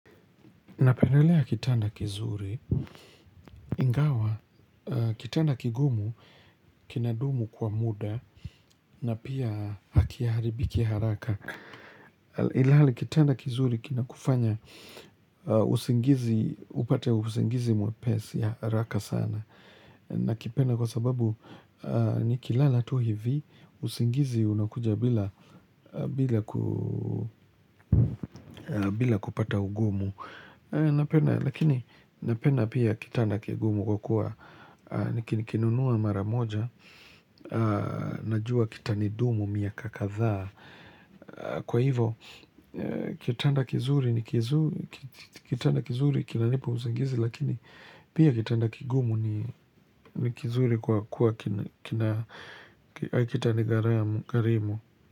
Napendelea kitanda kizuri, ingawa, kitanda kigumu, kinadumu kwa muda, na pia hakiharibiki haraka. Ilhali kitanda kizuri kinakufanya, usingizi, upate usingizi mwepesi ya haraka sana. Na kipenda kwa sababu nikilala tu hivi, usingizi unakuja bila kupata ugumu, napenda Lakini napenda pia kitanda kigumu kwa kuwa Nikini kinunuwa mara moja Najua kitanidumu miaka kadhaa Kwa hivo kitanda kizuri ni kizuri Kitanda kizuri kinanipa usingizi Lakini pia kitanda kigumu ni kizuri kwa kuwa kina Kitani gharimu.